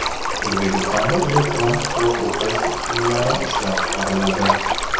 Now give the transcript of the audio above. O‘zbekistonda elektron kitob o‘qish uskunalari ishlab chiqariladi.